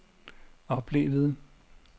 oplevede